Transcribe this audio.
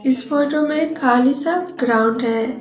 इस फोटो में एक खाली सा ग्राउंड है।